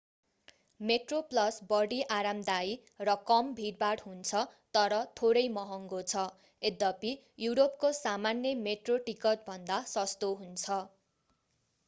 Metro Plus बढी आरामदायी र कम भीडभाड हुन्छ तर थोरै महङ्गो छ यद्यपि युरोपको सामान्य मेट्रो टिकट भन्दा सस्तो हुन्छ